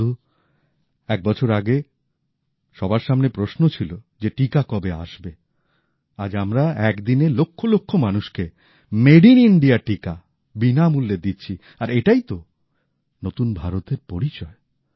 বন্ধু এক বছর আগে সবার সামনে প্রশ্ন ছিল যে টিকা কবে আসবে আজ আমরা এক দিনে লক্ষ লক্ষ মানুষকে মেড ইন ইণ্ডিয়া টিকা বিনামূল্যে দিচ্ছি আর এটাই তো নতুন ভারতের পরিচয়